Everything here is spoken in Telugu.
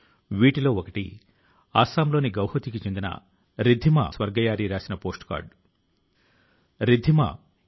తన లేఖ లో శ్రీ వరుణ్ సింహ్ తన పరాక్రమాన్ని వివరించలేదు కానీ తన వైఫల్యాల ను గురించి చెప్పారు